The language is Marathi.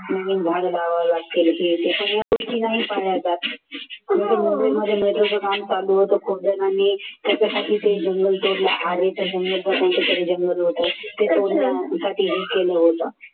नवीन झाड लावावे लागतील हे ते पण या गोष्टी नाही पाळल्या जात. मुंबईमध्ये metro काम चालू होतं खूप जणांनी त्याच्यासाठी ते जंगल तोडला आणि ते जंगल